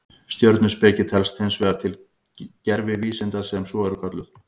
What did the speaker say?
Stjörnuspeki telst hins vegar til gervivísinda sem svo eru kölluð.